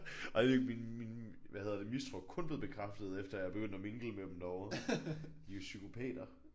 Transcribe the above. Og jeg ved ikke min min hvad hedder det min mistro er kun blevet bekræftet efter jeg er begyndt at mingle med dem derovre. De er jo psykopater